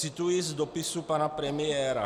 Cituji z dopisu pana premiéra.